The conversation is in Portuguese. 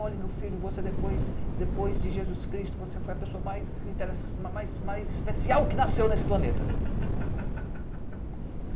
''Olha, meu filho, você depois de Jesus Cristo, você foi a pessoa mais especial que nasceu nesse planeta.''